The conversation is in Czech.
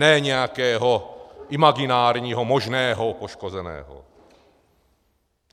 Ne nějakého imaginárního možného poškozeného.